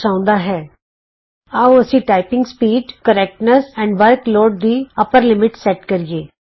ਆਉ ਅਸੀਂ typing speed ਸ਼ੁੱਧਤਾ ਅਤੇ workload typing speed correctness and workload ਦੀ ਉੱਤਲੀ ਹੱਦ ਸੈਟ ਕਰੀਏ